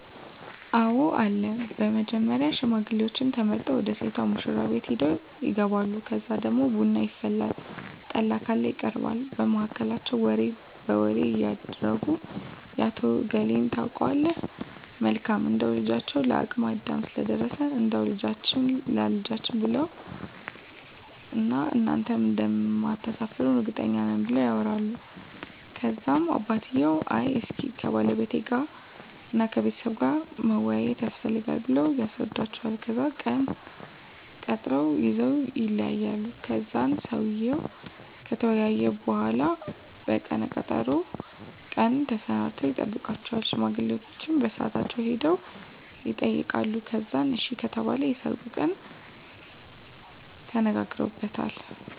አወ አለ በመጀመሪያ ሽማግሌዎች ተመርጠው ወደ ሴቷ ሙሽራቤት ሄደው ይጋባሉ ከዛ ደግሞ ቡና ይፈላል ጠላ ካለ ይቀርባል በመሀከላቸው ወሬ በወሬ እያረጉ የአቶ እገሌን ታውቀዋለህ መልካም እንደው ልጃቸው ለአቅመ አዳም ስለደረሰ እንዳው ልጃችህን ላልጄ ብለውዋን እና እናንተም እንደማታሰፍሩን እርግጠኞች ነን ብለው ያወራሉ ከዛም አባትየው አይ እስኪ ከባለቤቴ ጋር እና ከቤተሰቡ ጋር መወያያት የስፈልጋል ብለው ያስረዱዎቸዋል ከዛን ቀነ ቀጠሮ ይዘወ ይለያያሉ ከዛን ሰውየው ከተወያየ በሁላ በቀነ ቀጠሮው ቀን ተሰናድተው ይጠብቃቸዋል ሽማግሌዎቸ በሳአታቸው ሄደው የጠይቃሉ ከዛን አሺ ከተባሉ የሰርጉን ቀን ተነጋግረውበታል